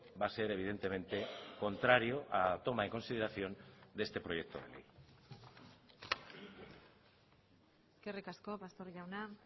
va a ser evidentemente contrario a la toma en consideración de este proyecto de ley eskerrik asko pastor jauna